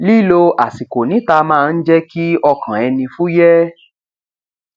lílo àsìkò níta máa ń jẹ kí ọkàn ẹni fúyẹ